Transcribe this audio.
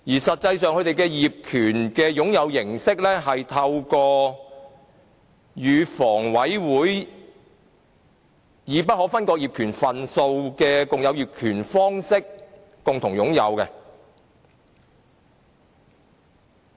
實際上，他們的業權擁有形式是透過與房委會以不可分割業權份數的共有業權方式共同擁有。